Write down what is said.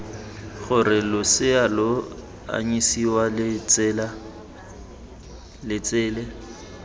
gore losea lo anyisiwa letsele